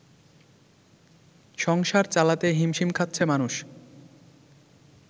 সংসার চালাতে হিমশিম খাচ্ছে মানুষ